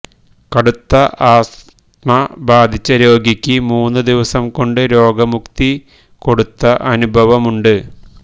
കടുത്ത ആസ്തമ ബാധിച്ച രോഗിക്ക് മൂന്നു ദിവസം കൊണ്ട് രോഗമുക്തി കൊടുത്ത അനുഭവമുണ്ട്